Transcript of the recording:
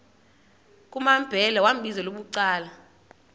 kumambhele wambizela bucala